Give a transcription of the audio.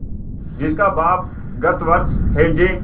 जिसका बाप गत वर्ष हैजे